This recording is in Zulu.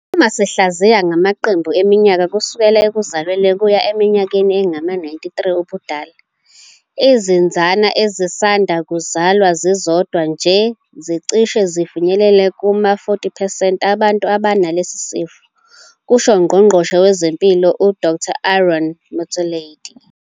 Uma sihlaziya ngamaqembu eminyaka kusukela ekuzalweni kuya eminyakeni engama-93 ubudala, izinsana ezisanda kuzalwa zizodwa nje zicishe zifinyelele kuma-40 percent abantu abanalesi sifo, kusho uNgqongqoshe wezeMpilo uDkt Aaron Motsoaledi.